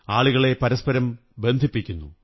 ആളുകളെ പരസ്പരം ബന്ധിപ്പിക്കുന്നു